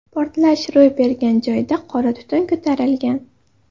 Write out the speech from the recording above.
Portlash ro‘y bergan joyda qora tutun ko‘tarilgan.